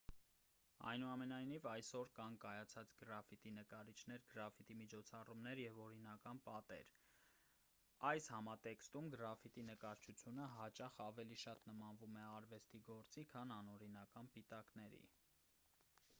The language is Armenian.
այնուամենայնիվ այսօր կան կայացած գրաֆիտի նկարիչներ գրաֆիտի միջոցառումներ և օրինական պատեր այս համատեքստում գրաֆիտի նկարչությունը հաճախ ավելի շատ նմանվում է արվեստի գործերի քան անօրինական պիտակների